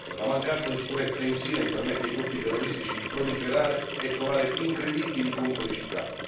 la mancanza di sicurezza in Sinai permette ai gruppi terroristici di proliferare e trovare incredibili complicità.